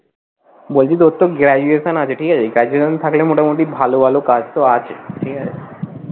বলছি তোর তো graduation আছে ঠিক আছে graduation থাকলে মোটামোটি ভালো ভালো কাজ তো আছে ঠিক আছে।